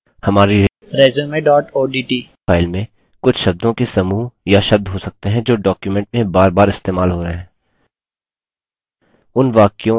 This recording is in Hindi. उदाहरणस्वरुप हमारी resume odt file में कुछ शब्दों के समूह या शब्द हो सकते हैं जो document में forfor इस्तेमाल हो रहे हैं